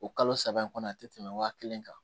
O kalo saba in kɔnɔ a ti tɛmɛ wa kelen kan